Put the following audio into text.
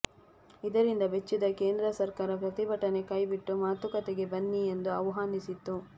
ಇದರಿಂದ ಬೆಚ್ಚಿದ ಕೇಂದ್ರ ಸರ್ಕಾರ ಪ್ರತಿಭಟನೆ ಕೈಬಿಟ್ಟು ಮಾತುಕತೆಗೆ ಬನ್ನಿ ಎಂದು ಆಹ್ವಾನಿಸಿತ್ತು